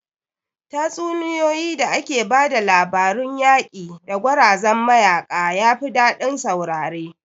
Tatsuniyoyin da ake ba da labarun yaƙi da gwarazan mayaƙa yafi daɗin saurare